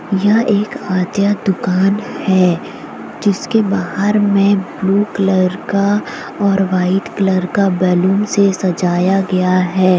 यह एक आद्या दुकान है जिसके बाहर में ब्लू कलर का और वाइट कलर का बैलून से सजाया गया है।